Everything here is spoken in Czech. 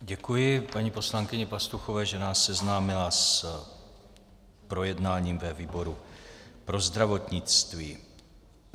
Děkuji paní poslankyni Pastuchové, že nás seznámila s projednáním ve výboru pro zdravotnictví.